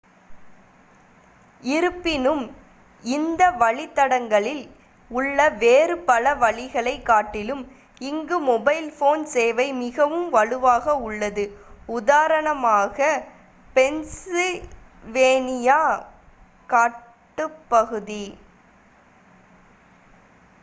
இருப்பினும் இந்த வழித்தடங்களில் உள்ள வேறு பல வழிகளைக் காட்டிலும் இங்கு மொபைல் போன் சேவை மிகவும் வலுவாக உள்ளது உதாரணமாக பென்சில்வேனியா காட்டுப்பகுதி